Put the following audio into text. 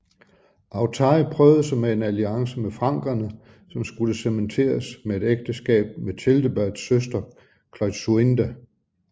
Authari prøvede sig med en alliance med frankerne som skulle cementeres med et ægteskab med Childeberts søster Klotsuinda